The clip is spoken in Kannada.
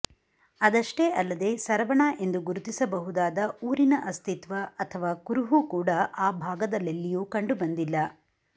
ಅದಷ್ಟೇ ಅಲ್ಲದೆ ಸರವಣ ಎಂದು ಗುರುತಿಸಬಹುದಾದ ಊರಿನ ಅಸ್ತಿತ್ವ ಅಥವ ಕುರುಹು ಕೂಡ ಆ ಭಾಗದಲ್ಲೆಲ್ಲಿಯೂ ಕಂಡುಬಂದಿಲ್ಲ